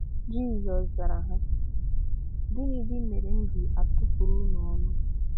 Jísọs zàrà ha: "Gịnị̀dí mere m ji atụ̀pụrụ̀ ùnụ ọnụ?